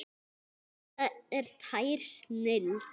Þetta er tær snilld.